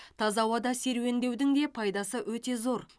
таза ауада серуендеудің де пайдасы өте зор